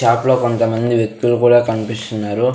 Shop లో కొంతమంది వ్యక్తులు కూడా కన్పిస్తున్నరు.